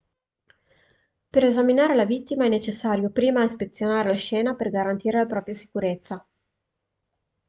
per esaminare la vittima è necessario prima ispezionare la scena per garantire la propria sicurezza